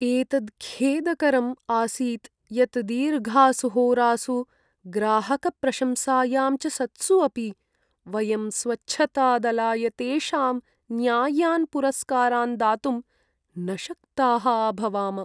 एतत् खेदकरम् आसीत् यत् दीर्घासु होरासु, ग्राहकप्रशंसायां च सत्सु अपि वयं स्वच्छतादलाय तेषां न्याय्यान् पुरस्कारान् दातुं न शक्ताः अभवाम।